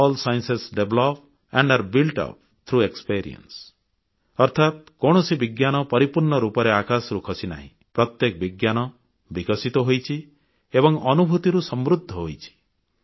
all science develop and are built up through experience ଅର୍ଥାତ୍ କୌଣସି ବିଜ୍ଞାନ ପରିପୂର୍ଣ୍ଣ ରୂପରେ ଆକାଶରୁ ଖସିନାହିଁ ପ୍ରତ୍ୟେକ ବିଜ୍ଞାନ ବିକଶିତ ହୋଇଛି ଏବଂ ଅନୁଭୂତିରୁ ସମୃଦ୍ଧ ହୋଇଛି